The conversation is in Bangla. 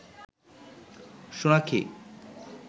সোনাক্ষী